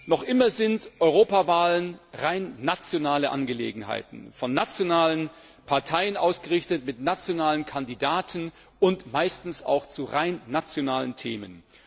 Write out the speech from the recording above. Noch immer sind Europawahlen rein nationale Angelegenheiten, von nationalen Parteien ausgerichtet, mit nationalen Kandidaten und meistens auch zu rein nationalen Themen.